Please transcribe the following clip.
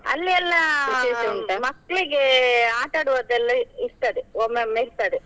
ಅಲ್ಲಿ ಎಲ್ಲ ಮಕ್ಳಿಗೆ ಆಟಾಡುವದ್ದೆಲ್ಲಾ ಇರ್ತದೆ, ಒಮ್ಮೊಮ್ಮೆ ಇರ್ತದೆ.